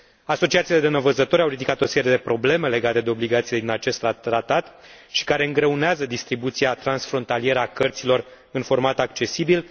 Asociațiile de nevăzători au ridicat o serie de probleme legate de obligațiile din acest tratat care îngreunează distribuția transfrontalieră a cărților în format accesibil.